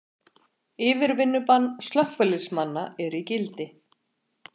Yfirvinnubann slökkviliðsmanna er í gildi